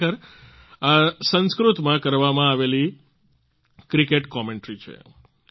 ખરેખર આ સંસ્કૃતમાં કરવામાં આવેલી ક્રિકેટ કોમેન્ટ્રી છે